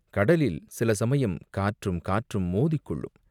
கடலில் சில சமயம் காற்றும், காற்றும் மோதிக்கொள்ளும்.